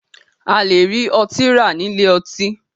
A lè rí ọtí rà nílé ọtí.